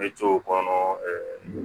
Bɛ to o kɔnɔ ɛɛ